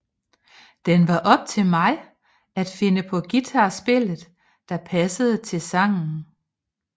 Den var op til mig at finde på guitar spillet der passede til sangen